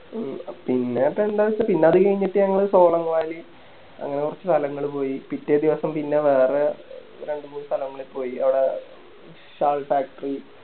A പിന്നിപ്പോ എന്താച്ചാ പിന്നത് കയിഞ്ഞിട്ട് ഞങ്ങള് കോവളം കൊവലി അങ്ങനെ കൊറച്ച് സ്ഥലങ്ങള് പോയി പിറ്റേദിവസം പിന്നെ വേറെ രണ്ട് മൂന്ന് സ്ഥലങ്ങള് പോയി അവിടെ Shall factory